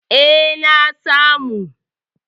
E, na samu.